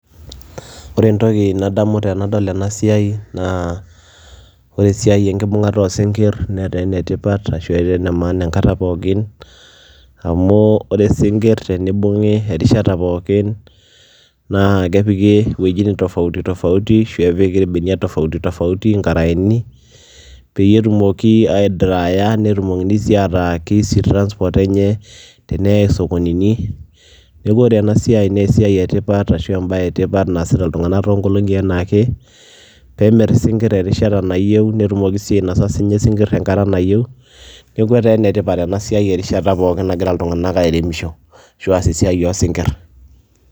Ore entoki nadamu tenadol ena siai naa ore esiai enkibung'ata oo sinkir netaa ene tipat ashu etaa ene maana enkata pookin amu ore sinkir tenibung'i erishata pookin naake epiki iwojitin tofauti tofauti ashu epiki irbeniak tofauti tofauti, nkaraeni peyie etumoki aidrya netumokini sii ataa ke easy transport enye teneyai isokonini. Neeku ore ena siai naa esiai e tipat ashu embaye e tipat naasita iltung'anak too nkolong'i enaake peemir isinkir erishata nayeu, netumoki sii nye ainasa sinkir enkata nayeu. Neeku etaa ene tipat ena siai erishata pookin nagira iltung'anak airemisho.